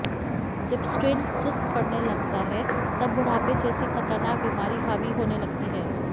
जब सिट्इन सुस्त पड़ने लगता है तब बुढ़ापे जैसी खतरनाक बीमारी हावी होने लगती है